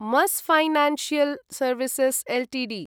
मस् financial services Ltd